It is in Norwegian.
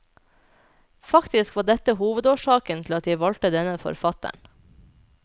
Faktisk var dette hovedårsaken til at jeg valgte denne forfatteren.